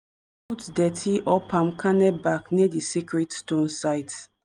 put dirty or palm kernel back near di sacred stone site.